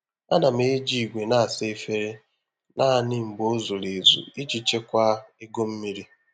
A na m eji igwe na-asa efere naanị mgbe ọ zuru ezu iji chekwaa ego mmiri.